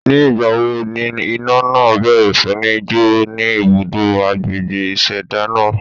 Ní ìgbà wo ni iná náà bẹ̀rẹ̀ sí ní jo ni ibùdó agbègbè ìṣẹ̀dá náà?